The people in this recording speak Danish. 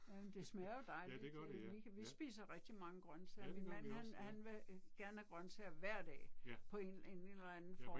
Jamen det smager jo dejligt øh vi kan vi spiser rigtig mange grøntsager min man han han vil gerne have grøntsager hver dag på en en en eller anden form